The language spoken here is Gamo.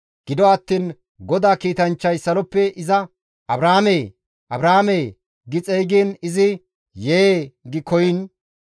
Gido attiin GODAA kiitanchchay saloppe iza, «Abrahaamee! Abrahaamee!» gi xeygiin izi, «Yee!» gi koyiin,